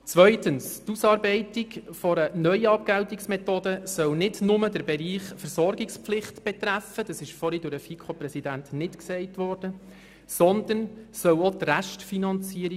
Zweitens: Die Ausarbeitung einer neuen Abgeltungsmethode soll nicht nur den Bereich Versorgungspflicht betreffen, was vorhin vom Präsidenten der FiKo nicht gesagt worden ist, sondern auch die Restfinanzierung.